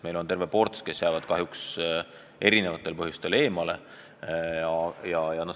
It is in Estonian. Meil on terve ports inimesi, kes jäävad erinevatel põhjustel teenistusest eemale.